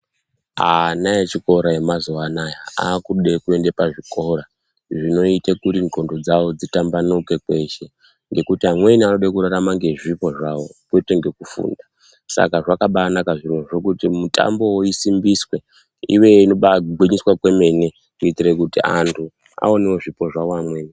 Ana echikora yemazuva anawa akuda kuenda pazvikora dzinoita kuti ngonxo dzawo dzitambanuke kweshe ngekuti amweni anoda kurarama kweshe nezvipo zvawo kwete ngekufunda Saka zvakanaka zvirozvo kuti mitambo isimbiswe nekugwinyisira kwemene aunawo zvipo zvevamweni.